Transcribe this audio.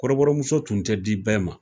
Kɔrɔbɔrɔmuso tun tɛ di bɛɛ ma